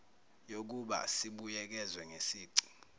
yokuba sibuyekezwe ngesici